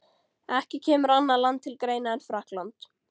Ekki kemur annað land til greina en Frakkland.